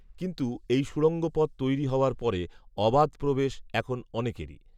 কিন্তু এই সুড়ঙ্গ পথ তৈরি হওয়ার পরে অবাধ প্রবেশ এখন অনেকেরই